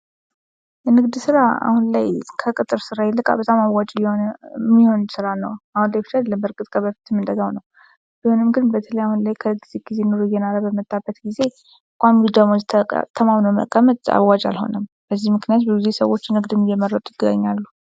የንግድ ስራ አሁን ላይ ከቅጥር ስራ ይልቅ በጣም አዋጭ የሚሆን ስራ ነው። አሁን ሳይሆን በእርግጥ ከበፊትም እንደዛ ነው። ቢሆንም ግን በተለይ አሁን ላይ ከጊዜ ጊዜ ኑሮ እየኖረ በመጣበት ጊዜ ቋሚ ደሞዝ ተማምኖ መቀመጥ አዋጭ አልሆነም። በዚህም ምክንያት ብዙ ሰዎችን ንግድን እንደሚመረጡ ይገኛሉ።